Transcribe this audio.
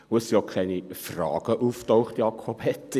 Es sind auch keine Fragen aufgetaucht, Jakob Etter: